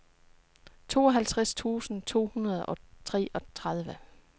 tooghalvtreds tusind to hundrede og treogtredive